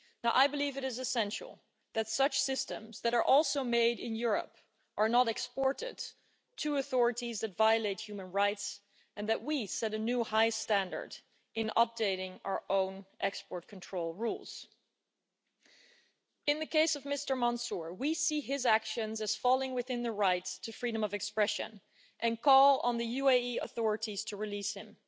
I believe that it is essential that such systems, that are also made in Europe, are not exported to authorities that violate human rights and that we set a new high standard in updating our own export control rules. In the case of Mr Mansoor, we see his actions as falling within the rights to freedom of expression and call on the UAE authorities to release him.